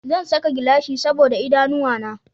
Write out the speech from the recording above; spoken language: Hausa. Zan saka gilashi saboda idanuwa na